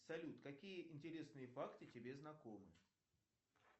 салют какие интересные факты тебе знакомы